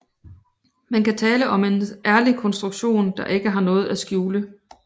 Man kan tale om en ærlig konstruktion der ikke har noget at skjule